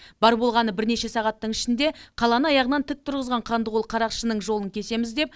бар болғаны бірнеше сағаттың ішінде қаланы аяғынан тік тұрғызған қанды қол қарақшының жолын кесеміз деп